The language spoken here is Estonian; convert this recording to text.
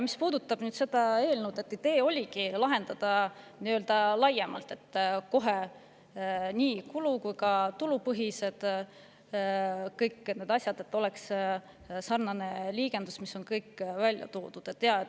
Mis puudutab nüüd seda eelnõu, siis idee oligi lahendada seda kohe nii-öelda laiemalt, nii kulu- kui ka tulupõhised asjad, et oleks sarnane liigendus, kus on kõik välja toodud.